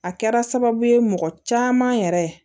A kɛra sababu ye mɔgɔ caman yɛrɛ